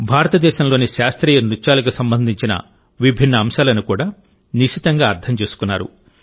భారతదేశంలోని శాస్త్రీయ నృత్యాలకు సంబంధించిన విభిన్న అంశాలను కూడా నిశితంగా అర్థం చేసుకున్నారు